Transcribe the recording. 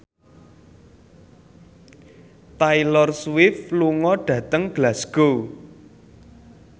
Taylor Swift lunga dhateng Glasgow